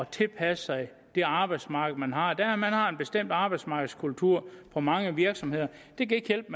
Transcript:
tilpasse sig det arbejdsmarked man har man har en bestemt arbejdsmarkedskultur på mange virksomheder det kan ikke hjælpe